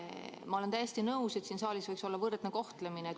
Ma olen täiesti nõus, et siin saalis võiks kõiki kohelda võrdselt.